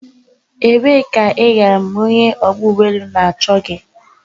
Ebee ka I gara mgbe onye ogba ugboelu no na-acho gi?